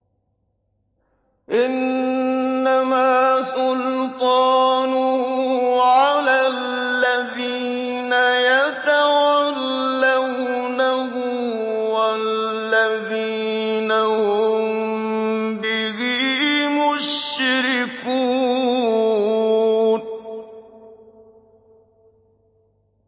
إِنَّمَا سُلْطَانُهُ عَلَى الَّذِينَ يَتَوَلَّوْنَهُ وَالَّذِينَ هُم بِهِ مُشْرِكُونَ